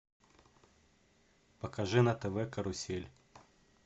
покажи на тв карусель